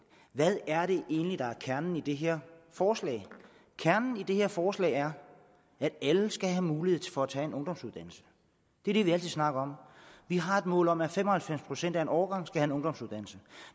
hvad er det egentlig der er kernen i det her forslag kernen i det her forslag er at alle skal have mulighed for at tage en ungdomsuddannelse det er det vi altid snakker om vi har et mål om at fem og halvfems procent af en årgang skal have en ungdomsuddannelse